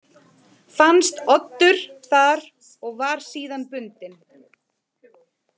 Fannst Oddur þar og var síðan bundinn.